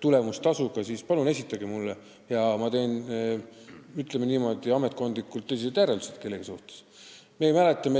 tulemustasuga, siis palun esitage see mulle ja ma teen, ütleme niimoodi, ametkondlikult tõsised järeldused kellegi tööst.